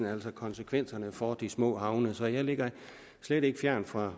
altså konsekvenserne for de små havne så jeg ligger slet ikke fjernt fra